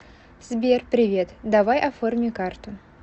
сбер привет давай оформи карту